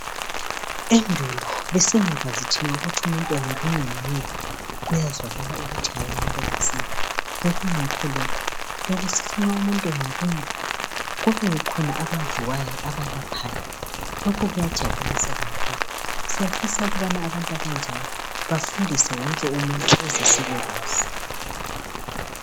Endulo besingakwazi thina ukuthi umuntu engalunywa yinyoka kuyazwakala ukuthi hayi umuntu kasekho bekungekho lokhu, bekusithi nxa umuntu engalunywa kubekhona abaziwayo abalaphayo lokhu kuyajabulisa kakhulu. Siyafisa ukubana abantu abanjalo bafundise wonke umuntu ukuze sibekwazi.